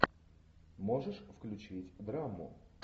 можешь включить драму